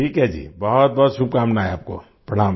ठीक है जी बहुतबहुत शुभकामनाएँ आपको